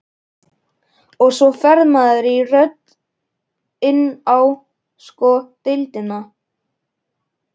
Og svo fer maður í röð inn á sko deildina.